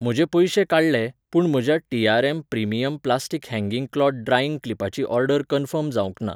म्हजे पयशे काडले, पूण म्हज्या TRM. Premium plastic hanging cloth drying क्लिपाची ऑर्डर कन्फर्म जावंक ना